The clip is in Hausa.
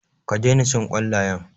Ka daina cin ƙwallayen.